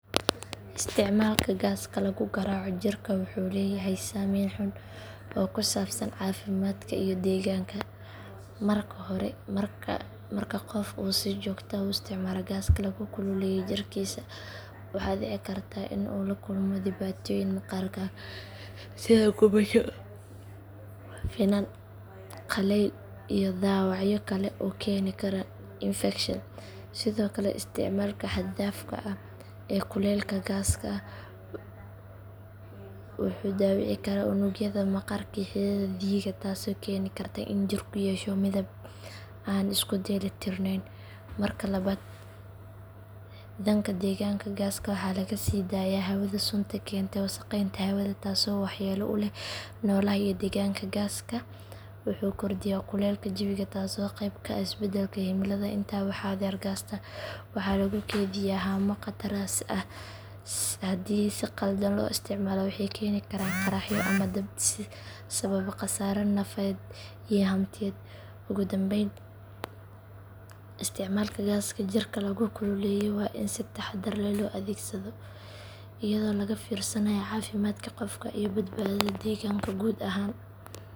Isticmaalka gaaska lagu garaaco jirka wuxuu leeyahay saameyn xun oo ku saabsan caafimaadka iyo deegaanka. Marka hore marka qofka uu si joogto ah u isticmaalo gaas lagu kululeeyo jirkiisa waxaa dhici karta in uu la kulmo dhibaatooyin maqaarka ah sida gubasho, finan, qallayl iyo dhaawacyo kale oo keeni kara infekshan. Sidoo kale isticmaalka xad dhaafka ah ee kulaylka gaaska wuxuu dhaawici karaa unugyada maqaarka iyo xididdada dhiigga taasoo keeni karta in jirku yeesho midab aan isku dheelli tirneyn. Marka labaad dhanka deegaanka gaaska waxaa laga sii daayaa hawada sunta keenta wasakheynta hawada taasoo waxyeello u leh noolaha iyo deegaanka. Gaaska wuxuu kordhiyaa kuleylka jawiga taasoo qeyb ka ah isbeddelka cimilada. Intaa waxaa dheer gaasta waxaa lagu kaydiyaa haamo khatar ah haddii si khaldan loo isticmaalo waxayna keeni karaan qaraxyo ama dab sababa khasaare nafeed iyo hantiyeed. Ugu dambayn isticmaalka gaaska jirka lagu kululeeyo waa in si taxaddar leh loo adeegsadaa iyadoo laga fiirsanayo caafimaadka qofka iyo badbaadada deegaanka guud ahaan.